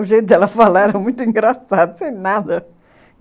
O jeito dela falar era muito engraçado, sem nada.